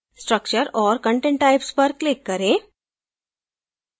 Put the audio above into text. structure और content types पर click करें